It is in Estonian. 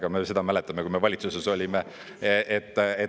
Ega me ju seda mäletame, kui me valitsuses olime.